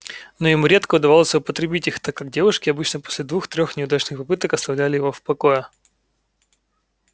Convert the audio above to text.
но ему редко удавалось употребить их так как девушки обычно после двух-трёх неудачных попыток оставляли его в покое